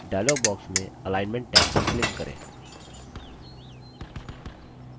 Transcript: dialog box में alignment tab पर click करें